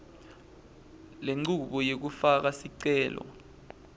lenchubo yekufaka sicelo